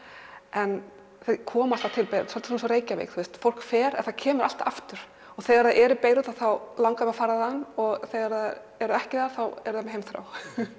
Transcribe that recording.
en þau koma alltaf til Beirút svolítið eins og Reykjavík fólk fer en það kemur alltaf aftur og þegar það er í Beirút þá langar þau að fara þaðan og þegar það er ekki þar þá eru þau með heimþrá